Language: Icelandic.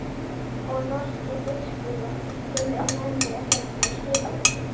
Og norski biskupinn sem er með mér hérna á skipinu.